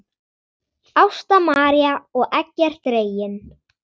Ásta María og Eggert Reginn.